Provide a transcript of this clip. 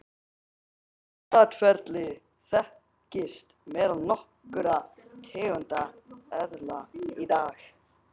Slíkt atferli þekkist meðal nokkurra tegunda eðla í dag.